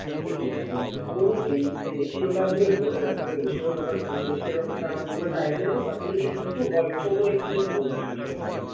Okay মানে কোন এই যে Ratio টা আপনি বললেন আসলে Ratio ব্যাপারটা আমার খুব একটা Idea নেই তো। আপনি যদি একটু অল্প করে Just বোঝান বিষয়টা